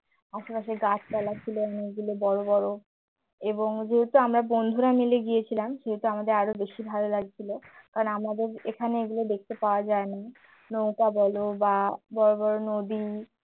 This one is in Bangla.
ওখানে যে গাছপালা ছিল অনেকগুলো বড় বড় এবং যেহেতু আমরা বন্ধুরা মিলে গিয়েছিলাম সেহেতু আমাদের আরও বেশি ভালো কারণ লাগছিল আমাদের এখানে এগুলো দেখতে পাওয়া যায় না নৌকা বলো বা বড় বড় নদী